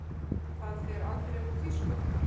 Það fer aldrei úr tísku.